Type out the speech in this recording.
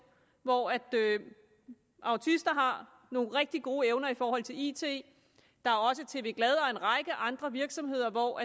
hvor autister har nogle rigtig gode evner i forhold til it der er også tv glad og en række andre virksomheder hvor